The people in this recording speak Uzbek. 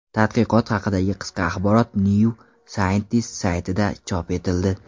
Tadqiqot haqidagi qisqa axborot New Scientist saytida chop etildi .